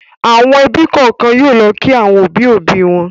Àwọn ẹbí kọ̀ọ̀kan yóò lọ kí àwọn òbí-òbí wọn.